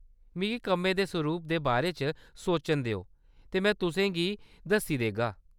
मिगी कम्मै दे सरूप दे बारे च सोचन देओ ते में तुसें गी दस्सी देगा।